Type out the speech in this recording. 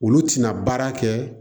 Olu tɛna baara kɛ